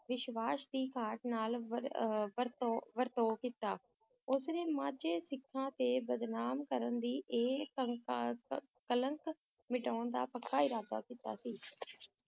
ਵਿਸ਼ਵਾਸ ਦੀ ਘਾਟ ਨਾਲ ਵਰ~ ਅਹ ਵਰਤਾਓ ਵਰਤਾਓ ਕੀਤਾ, ਉਸਨੇ ਮਾਝਾ ਸਿੱਖਾਂ ‘ਤੇ ਬਦਨਾਮ ਕਰਨ ਦੀ ਇਹ ਕਲੰਕ ਮਿਟਾਉਣ ਦਾ ਪੱਕਾ ਇਰਾਦਾ ਕੀਤਾ ਸੀ